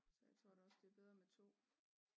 Så det tror jeg da også det er bedre med 2